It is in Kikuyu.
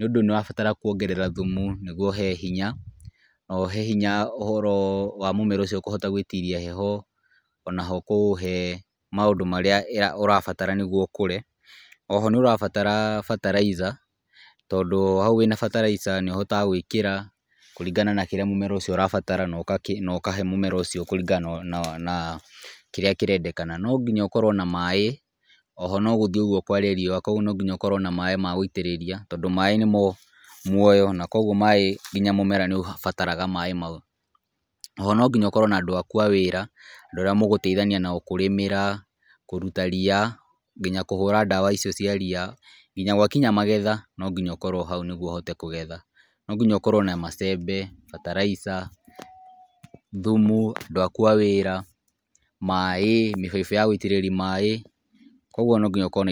nĩ ũndũ nĩ ũrabatara kwongerera thumu , nĩgwo ũhe hinya na ũhe hinya ũhoro wa mũmera ũcio kũhota gwĩtiria heho , onaho kũũhe maũndũ marĩa ũrabatara nĩgwo ũkũre, oho nĩ ũrabatara bataraica , tondũ hau wĩna bataraica nĩ ũhotaga gwĩkĩra kũringana na kĩrĩa mũmera ũcio ũrabatara , na ũkahe mũmera ũcio kũringana na kĩrĩa kĩrendekana , no nginya ũkorwo na maaĩ , oho no gũthiĩ ũgwo kware riũa kũgwo no nginya ũkorwo na maaĩ magũitĩrĩria, tondũ maaĩ nĩmo muoyo na kwogwo nginya maaĩ mũmera nĩ ũbataraga maaĩ mau, oho no nginya ũkorwo na andũ aku a wĩra, andũ arĩa mũgũteithania kũrĩmĩra , kũruta ria nginya kũhũra ndawa icio cia ria ,nginya gwa kinya magetha no nginya ũkorwo hau nĩgetha ũhote kũgetha ,no nginya ũkorwo na macembe, bataraica, thumu, andũ aku a wĩra, maaĩ , mĩbaibũ ya gũitĩrĩria maaĩ , kũgwo no nginya ũkorwo na indo.